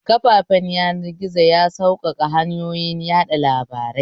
Kafafen yanar gizo ya sauƙaƙa hanyoyin yaɗa labarai